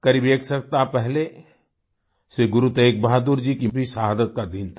करीब एक सप्ताह पहले श्री गुरु तेग बहादुर जी की भी शहादत का दिन था